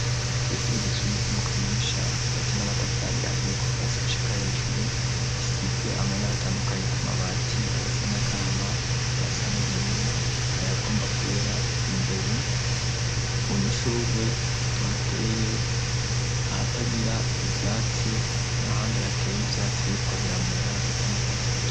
Kw'ishura igisumbe ry' mu kanyonsha gibatse n'amatafari ahiyeko vasi gushika hejuru isize amabara atandukanyi ku mabati ayasanagama ayasan'ubururu na yagomba kwera imbere mu dushugwe thateye ahatagira ivyatsi na handi hateye ivyatsi be ko biramera bisa no gwasi rue.